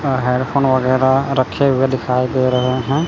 अ headphone वगैर रखे हुए दिखाई दे रहे हैं।